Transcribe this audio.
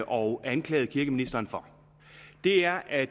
og anklaget kirkeministeren for er at